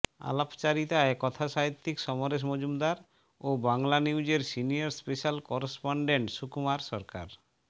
আলাপচারিতায় কথাসাহিত্যিক সমরেশ মজুমদার ও বাংলানিউজের সিনিয়র স্পেশাল করেসপন্ডেন্ট সুকুমার সরকার